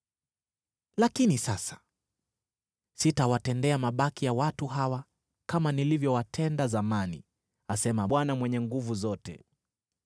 Lakini sasa sitawatendea mabaki ya watu hawa kama nilivyowatenda zamani,” asema Bwana Mwenye Nguvu Zote.